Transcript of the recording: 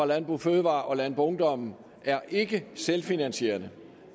landbrug fødevarer og landboungdom er ikke selvfinansierende